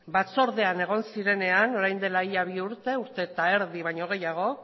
batzordean egon zirenean orain dela ia bi urte urte eta erdi baino gehiago